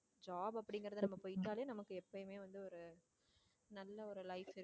job அப்படிங்கிறது நம்ம போயிட்டாலே நமக்கு எப்பயுமே வந்து ஒரு நல்ல ஒரு life இருக்கும்